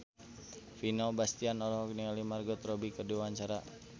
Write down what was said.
Vino Bastian olohok ningali Margot Robbie keur diwawancara